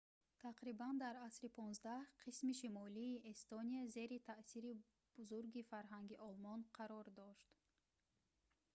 тақрибан дар асри 15 қисми шимолии эстония зери таъсири бузурги фарҳанги олмон қарор дошт